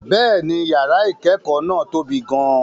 Bẹ́ẹ̀ni, yàrá ìkẹ́kọ̀ọ́ náà tóbi gan-an.